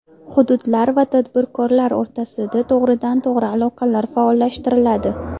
Hududlar va tadbirkorlar o‘rtasida to‘g‘ridan-to‘g‘ri aloqalar faollashtiriladi.